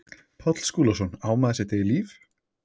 Páll Skúlason, Á maður sitt eigið líf?